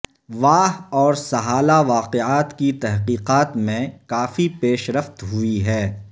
واہ اور سہالہ واقعات کی تحقیقات میں کافی پیش رفت ہوئی ہے